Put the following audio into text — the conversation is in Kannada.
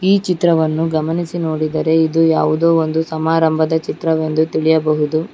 ಈ ಚಿತ್ರವನ್ನು ಗಮನಿಸಿ ನೋಡಿದರೆ ಇದು ಯಾವುದೊ ಒಂದು ಸಮಾರಂಭದ ಚಿತ್ರವೆಂದು ತಿಳಿಯಬಹುದು.